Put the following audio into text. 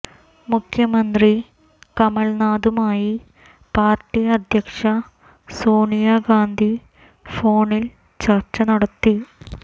മുഖ്യമന്ത്രി കമൽനാഥുമായി പാർട്ടി അധ്യക്ഷ സോണിയ ഗാന്ധി ഫോണിൽ ചർച്ച നടത്തി